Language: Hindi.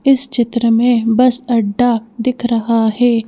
इस चित्र में बस अड्डा दिख रहा है।